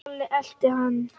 Lalli elti hann.